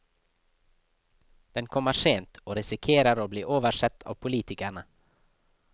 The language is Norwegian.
Den kommer sent, og risikerer å bli oversett av politikerne.